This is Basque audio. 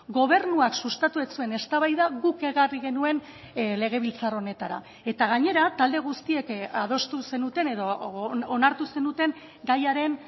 gobernuak sustatu ez zuen eztabaida guk ekarri genuen legebiltzar honetara eta gainera talde guztiek adostu zenuten edo onartu zenuten gaiaren